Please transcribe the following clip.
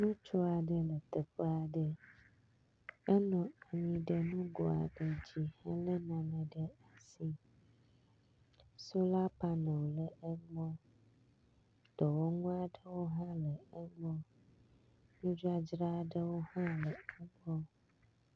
Ŋutsu aɖe le teƒe aɖe. enɔ anyi ɖe nugo aɖ dzi hele nane ɖe asi. Sola pane wo le egbɔ. Dɔwɔla aɖewo hã le egbɔ. Nudzadzra ɖewo hã le egbɔ.